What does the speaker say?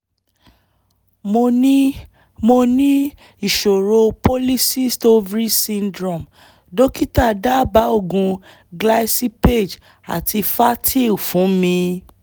mo ní mo ní ìṣòro polycyst ovary syndrome dókítà dábàá oògùn glycipaage àti fertyl fún mi